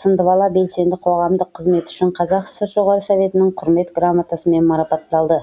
сындыбала белсенді қоғамдық қызметі үшін қазақ сср жоғарғы советінің құрмет грамотасымен марапатталды